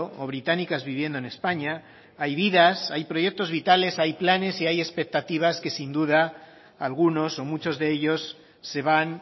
o británicas viviendo en españa hay vidas hay proyectos vitales hay planes y hay expectativas que sin duda algunos o muchos de ellos se van